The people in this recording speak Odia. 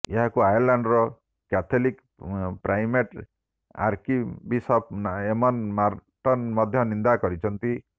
ଏହାକୁ ଆୟର୍ଲାଣ୍ଡର Catholic primate archbishop Eamon Martin ମଧ୍ୟ ନିନ୍ଦା କରିଛନ୍ତି